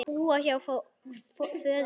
Búa hjá föður sínum?